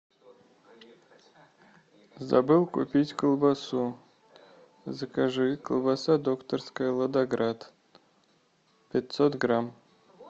забыл купить колбасу закажи колбаса докторская ладоград пятьсот грамм